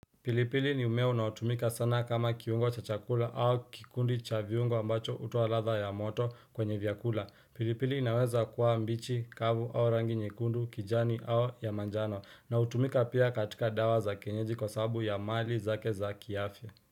Pilipili ni mmea unaotumika sana kama kiungo cha chakula au kikundi cha viungo ambacho hutoa ladha ya moto kwenye vyakula pilipili inaweza kuwa mbichi kavu au rangi nyekundu kijani au ya manjano na utumika pia katika dawa za kienyeji kwa sababu ya mali zake za kiafya.